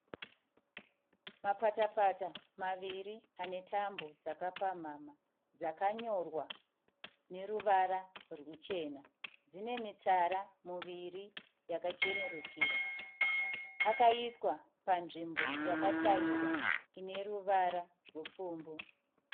Mapata-pata maviri ane tambo dzakapamhamha. Dzakanyorwa neruvara rwuchena. Dzine mitsara miviri yakachenerukira. Akaiswa panzvimbo yakatairwa ine ruvara rupfumbu.